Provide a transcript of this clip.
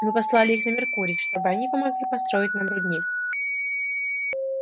мы послали их на меркурий чтобы они помогли построить нам рудник